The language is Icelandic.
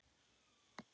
Við vorum ósköp þægir.